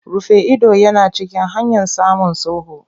Rufe ido yana cikin hanyan samun sulhu.